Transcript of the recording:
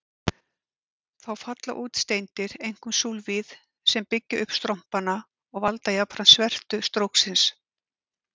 Þá falla út steindir, einkum súlfíð, sem byggja upp strompana og valda jafnframt svertu stróksins.